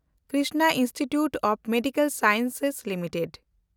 Krishna institute of medical sciences limited